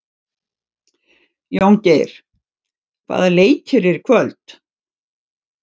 Jóngeir, hvaða leikir eru í kvöld?